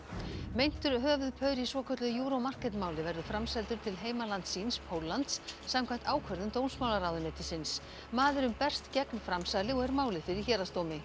meintur höfuðpaur í svokölluðu Euro Market máli verður framseldur til heimalands síns Póllands samkvæmt ákvörðun dómsmálaráðuneytisins maðurinn berst gegn framsali og er málið fyrir héraðsdómi